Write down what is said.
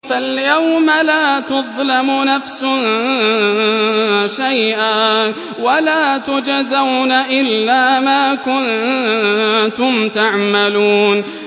فَالْيَوْمَ لَا تُظْلَمُ نَفْسٌ شَيْئًا وَلَا تُجْزَوْنَ إِلَّا مَا كُنتُمْ تَعْمَلُونَ